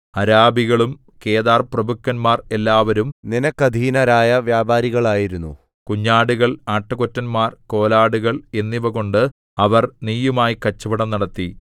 അരാബികളും കേദാർപ്രഭുക്കന്മാർ എല്ലാവരും നിനക്കധീനരായ വ്യാപാരികൾ ആയിരുന്നു കുഞ്ഞാടുകൾ ആട്ടുകൊറ്റന്മാർ കോലാടുകൾ എന്നിവകൊണ്ട് അവർ നീയുമായി കച്ചവടം നടത്തി